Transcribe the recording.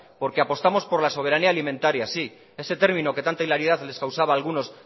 porque apostamos por la soberanía alimentaria ese término que tanta hilaridad les causaba a algunos